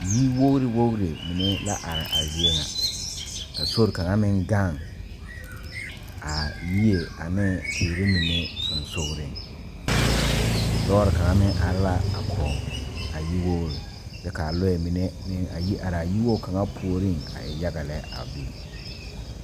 Yir wogre wogre mene la are a zie ŋa. A sore kanga meŋ gaŋ a yie ane teere mene susugreŋ. Lɔre kanga meŋ are la a kɔ a yir wogre. Kyɛ ka lɔe mene a yi are a yiwogo kanga pooreŋ a e yaga lɛ a biŋ